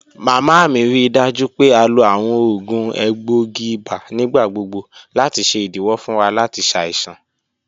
Mama mi rii daju pe a lo awọn oògùn egboogi ibà nigbagbogbo lati ṣe idiwọ fun wa lati ṣaisan.